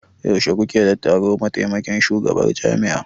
Yaushe kuke da taro da mataimakin shugabar jami'a?